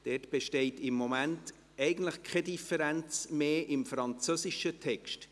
Dort besteht im Moment keine Differenz mehr im französischen Text.